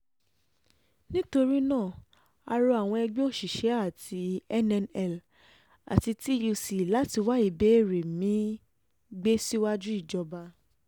nítorí náà a rọ àwọn ẹgbẹ́ òṣìṣẹ́ àti um nnl àti túc láti wá um ìbéèrè mi-ín gbé síwájú ìjọba